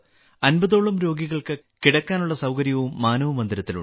50 ഓളം രോഗികൾക്ക് കിടക്കാനുള്ള സൌകര്യവും മാനവ് മന്ദിരത്തിലുണ്ട്